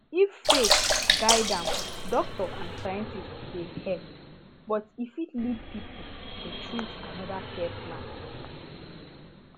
if faith guide am doctor and scientist dey help but e fit lead people to choose another care plan